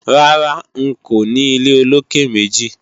Rárá, n kò ní ilé olókè-méjì